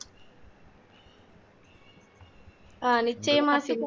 ஹம் நிச்சயமா சிம்பு